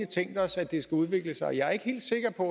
tænkt os at det skal udvikle sig jeg er ikke helt sikker på